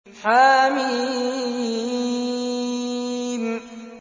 حم